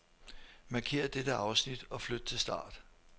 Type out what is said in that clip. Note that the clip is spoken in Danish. Markér dette afsnit og flyt til start.